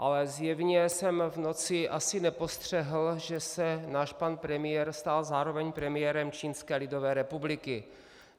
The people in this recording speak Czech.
Ale zjevně jsem v noci asi nepostřehl, že se náš pan premiér stal zároveň premiérem Čínské lidové republiky.